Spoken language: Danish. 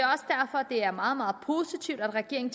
er meget meget positivt at regeringen